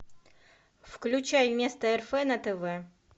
включай место рф на тв